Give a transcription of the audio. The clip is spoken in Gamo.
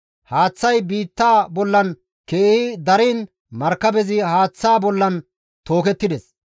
Haaththay biitta bollan keehi dariin markabezi haaththaa bollan tookettides.